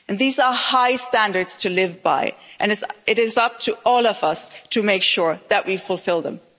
These are high standards to live by and it is up to all of us to make sure that we fulfil them.